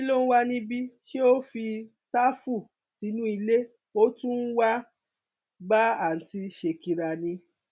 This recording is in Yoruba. kí ló ń wà níbí ṣé o fi sáfù sínú ilé ó tún wáá bá àùntì ṣèkìrà ni